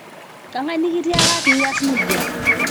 kang'ae nekitika piaas naija